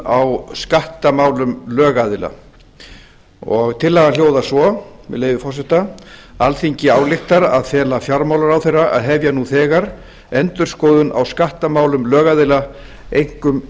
á skattamálum lögaðila tillagan hljóðar svo með leyfi forseta alþingi ályktar að fela fjármálaráðherra að hefja nú þegar endurskoðun á skattamálum lögaðila einkum